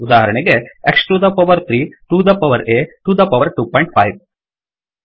ಉದಾಹರಣೆಗೆ X to the power 3 to the power ಆ to the power 25